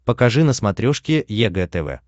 покажи на смотрешке егэ тв